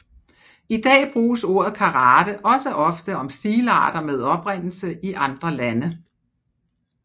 I dag bruges ordet karate også ofte om stilarter med oprindelse i andre lande